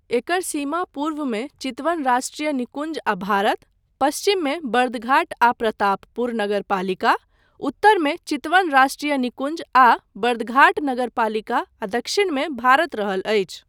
एकर सीमा पूर्वमे चितवन राष्ट्रिय निकुञ्ज आ भारत, पश्चिममे बर्दघाट आ प्रतापपुर नगरपालिका, उतरमे चितवन राष्ट्रिय निकुञ्ज आ बर्दघाट नगरपालिका आ दक्षिणमे भारत रहल अछि।